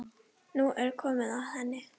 Nú er komið að henni.